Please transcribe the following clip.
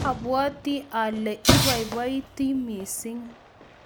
Kima buoti ale iboiboiti mising